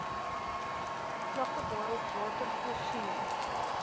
vlakke waarop watervoorsiening